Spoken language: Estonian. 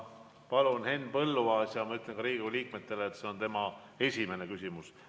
Palun, Henn Põlluaas, ja ma ütlen ka teistele Riigikogu liikmetele, et see on tema esimene küsimus.